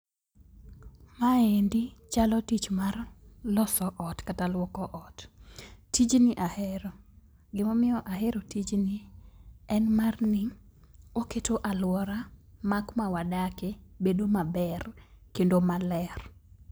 Maendi chalo tich mar loso ot kata luoko ot. Tijni ahero. Gimomiyo ahero tijni, en marni oketo aluora ma kuma wadakie bedo maber kendo maler.